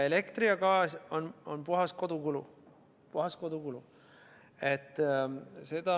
Elekter ja gaas on puhas kodukulu, puhas kodukulu.